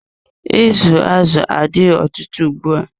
Izu azụ adigo ọtụtụ ugbua.